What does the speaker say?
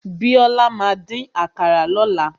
Bíọ́lá máa dín àkàrà lọ́la.